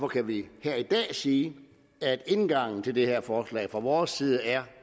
kan vi her i dag sige at indgangen til det her forslag fra vores side er